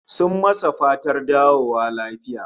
Sun masa fatar dawowa lafiya